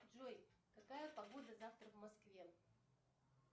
джой какая погода завтра в москве